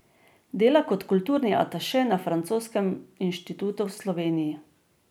Dela kot kulturni ataše na Francoskem inštitutu v Sloveniji.